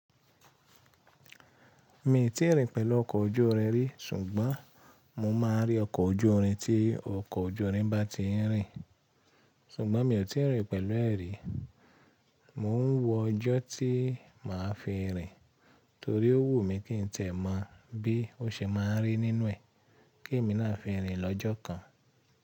Mi n tí ì rìn pẹ̀lú ọkọ̀ ojú irin rí, ṣùgbọ́n mo máa n rí ọkọ̀ ojú irin tí ọkọ̀ ojú irin bá ti ń rìn. Ṣùgbọ́n mi ò tí ì rìn pẹ̀lú ẹ̀ rí. Mo ń wọ ọjọ́ tí màá fi rìn torí ó wù mí kí n tiẹ̀ mọ̀ bí ó ṣe máa ń rí nínú ẹ̀ kí èmi náà fi rìn lọ́jọ́ kan.